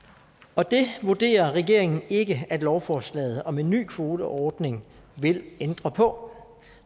og det vurderer regeringen ikke at lovforslaget om en ny kvoteordning vil ændre på